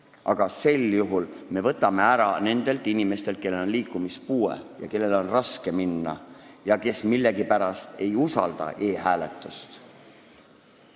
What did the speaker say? Aga sel juhul me võtame ära võimaluse valida nendelt inimestelt, kellel on liikumispuue ja kellel on raske jaoskonda minna, aga kes millegipärast ei usalda e-hääletust.